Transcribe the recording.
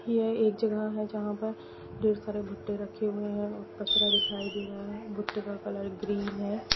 यह एक जगह है जहां पर ढेर सारे बुट्टे रखे हुए है कचरा दिखाय दे रहा है बुट्टे का कलर ग्रीन है।